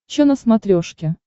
че на смотрешке